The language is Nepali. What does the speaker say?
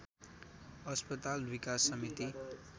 अस्पताल विकास समिति